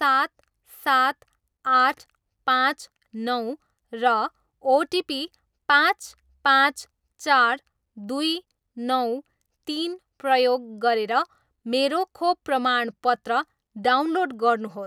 सात सात आठ पाँच नौ र ओटिपी पाँच पाँच चार दुई नौ तिन प्रयोग गरेर मेरो खोप प्रमाणपत्र डाउनलोड गर्नुहोस्